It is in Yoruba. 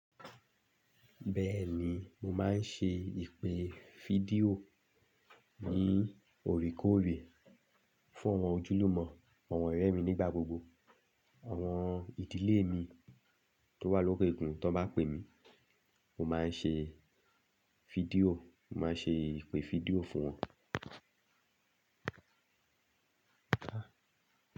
Bẹ́ẹ̀ni, mo máa ń ṣe ìpè fídíò ní òríkòrè fún àwọn ojúlùmọ̀, àwọn ọ̀rẹ́ mi nígbà gbogbo, àwọn ìdílé mi tó wà lókè òkun. Tí wọ́n bá pè mí, mo máa ń ṣe fídíò, mo máa ń ṣe ìpè fídíò fún wọn.